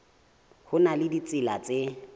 ho na le ditsela tse